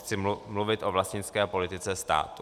Chci mluvit o vlastnické politice státu.